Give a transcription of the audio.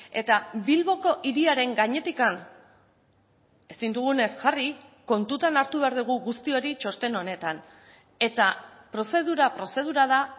eta bilboko hiriaren gainetik ezin dugunez jarri kontutan hartu behar dugu guzti hori txosten honetan eta prozedura prozedura da